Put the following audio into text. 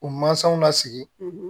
U mansaw la sigi